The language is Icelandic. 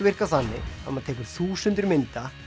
virka þannig að maður tekur þúsundir mynda